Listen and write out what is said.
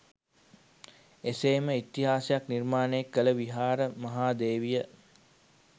එසේ ම ඉතිහාසයක් නිර්මාණය කළ විහාර මහා දේවිය